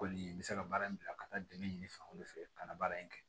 Kɔni n bɛ se ka baara in bila ka taa dɛmɛ ɲini fan wɛrɛ fɛ ka na baara in kɛ